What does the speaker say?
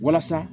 Walasa